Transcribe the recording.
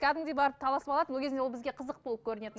кәдімгідей барып таласып алатынбыз ол кезде ол бізге қызық болып көрінетін